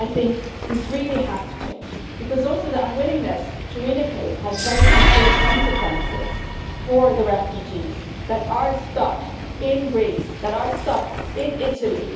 I think this really has to change, also because the unwillingness to relocate has very concrete consequences for the refugees who are stuck in Greece or in Italy.